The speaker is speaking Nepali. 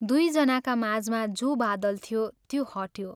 दुइ जनाका माझमा जो बादल थियो त्यो हट्यो।